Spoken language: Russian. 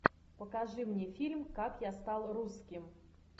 покажи мне фильм как я стал русским